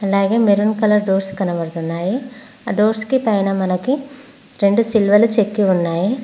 అలాగే maroon colour doors కనబడుతున్నాయి ఆ డోర్స్కి పైన మనకి రెండు సిలువలు చెక్కి ఉన్నాయి